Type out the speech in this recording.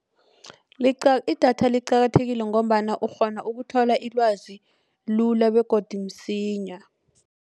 Idatha liqakathekile ngombana ukghona ukuthola ilwazi lula begodu msinya.